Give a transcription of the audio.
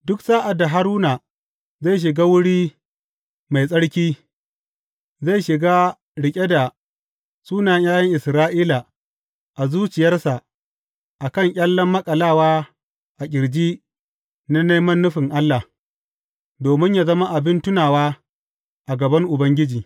Duk sa’ad da Haruna zai shiga Wuri Mai Tsarki, zai shiga riƙe da sunayen ’ya’yan Isra’ila a zuciyarsa a kan ƙyallen maƙalawa a ƙirji na neman nufin Allah, domin yă zama abin tunawa a gaban Ubangiji.